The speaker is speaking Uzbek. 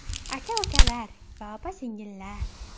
Aka-ukalar va opa-singillar!